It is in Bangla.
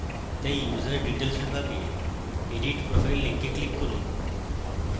তাই user details বিভাগে edit profile link click করুন